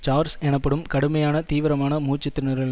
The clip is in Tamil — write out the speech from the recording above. சார்ஸ் எனப்படும் கடுமையான தீவிரமான மூச்சு திணறல்